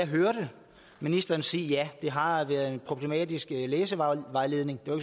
hørte ministeren sige ja det har været en problematisk læsevejledning det var